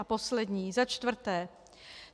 A poslední, za čtvrté.